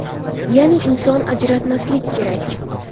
Ya’ni, inson ajratmaslik kerak.